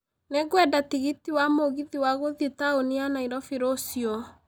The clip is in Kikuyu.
Nĩ ngwenda tigiti wa mũgithi wa gũthiĩ taũni ya nairobi rũcio